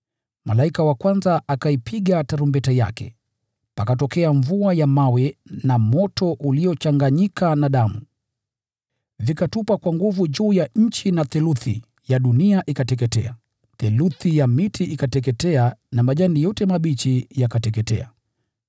Malaika wa kwanza akaipiga tarumbeta yake, pakatokea mvua ya mawe na moto uliochanganyika na damu, navyo vikatupwa kwa nguvu juu ya nchi. Na theluthi ya dunia ikateketea, theluthi ya miti ikateketea, na nyasi yote mbichi ikateketea.